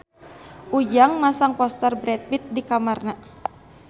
Ujang masang poster Brad Pitt di kamarna